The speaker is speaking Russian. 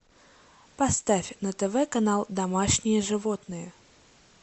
поставь на тв канал домашние животные